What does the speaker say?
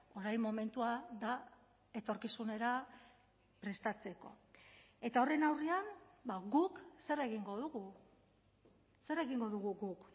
orain momentua da etorkizunera prestatzeko eta horren aurrean guk zer egingo dugu zer egingo dugu guk